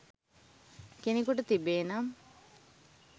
කෙනෙකුට තිබේ නම්,